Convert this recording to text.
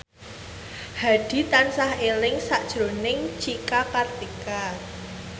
Hadi tansah eling sakjroning Cika Kartika